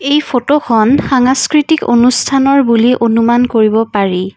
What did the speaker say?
এই ফটোখন সাংস্কৃতিক অনুষ্ঠানৰ বুলি অনুমান কৰিব পাৰি।